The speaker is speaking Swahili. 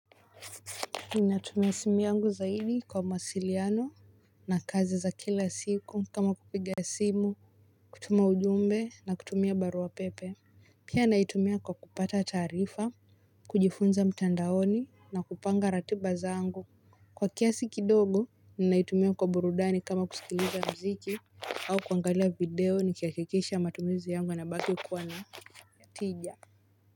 Ninatumia simu yangu zaidi kwa mawasiliano na kazi za kila siku kama kupiga simu kutuma ujumbe na kutumia barua pepe. Pia naitumia kwa kupata taarifa kujifunza mtandaoni na kupanga ratiba zangu kwa kiasi kidogo ninaitumia kwa burudani kama kusikiliza muziki au kuangalia video nikihakikisha matumizi yangu yanabaki kuwa na tija.